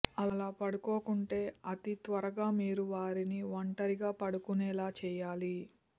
అలా పడుకోకుంటే అతి త్వరగా మీరు వారిని ఒంటరిగా పడుకునేలా చేయాలి